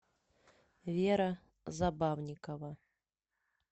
вера забавникова